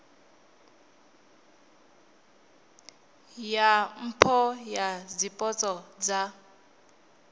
ya mpho dza zwipotso dza